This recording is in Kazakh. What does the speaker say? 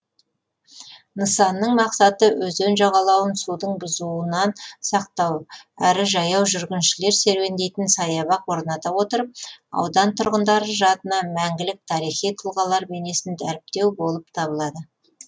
нысанның мақсаты өзен жағалауын судың бұзуынан сақтау әрі жаяу жүргіншілер серуендейтін саябақ орната отырып аудан тұрғындары жадына мәңгілік тарихи тұлғалар бейнесін дәріптеу болып табылады